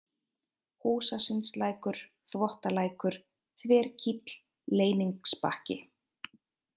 Húsasundslækur, Þvottalækur, Þverkíll, Leyningsbakki